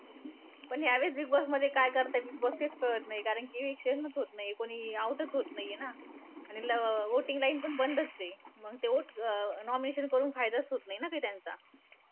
पण ह्यावेळेस बिगबॉसमध्ये काय करतायेत बिगबॉस तेच कळत नाहीये. कारण कि eviction चं होतं नाही. कोणी out चं होतं नाहीये ना. आणि ल voting lines पण बंदचं आहे. मंग ते vote अं nomination करून फायदाचं होतं नाही ना काही त्यांचा.